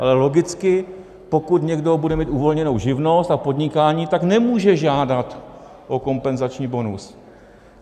Ale logicky, pokud někdo bude mít uvolněnou živnost a podnikání, tak nemůže žádat o kompenzační bonus.